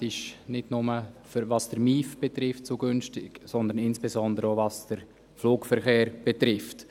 Mobilität ist nicht nur zu günstig, was den Motorisierten Individualverkehr (MIV) betrifft, sondern insbesondere auch was den Flugverkehr betrifft.